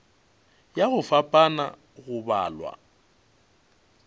ya go fapana go balwa